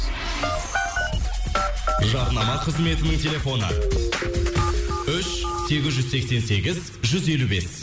жарнама қызметінің телефоны үш сегіз жүз сексен сегіз жүз елу бес